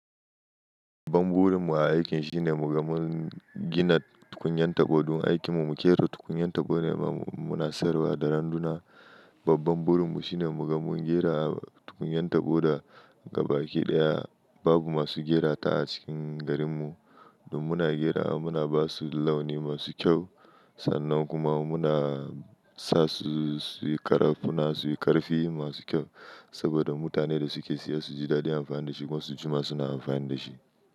Babban burin mu a aikin, shine muga mun gina tukunyan tabo. Don aikin mu muke ra tukunyan tabo ne muna sayarwa da randuna. Babban burin mu, shine muga mun gera tukunyan tabo da gaba ke ɗaya. Babu masu gera ta a cikin garin mu. Don muna gerawa, muna basu laon masu kyau, sannan kuma muna sa su su yi ƙara, suna su yi ƙarfi masu kyau. Saboda mutanen da suke siya su ji daɗi amfani da shi, kuma su jima suna amfani da shi.